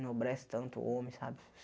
Enobrece tanto o homem, sabe?